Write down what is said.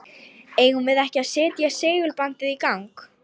Eigum við ekki að setja segulbandið í gang?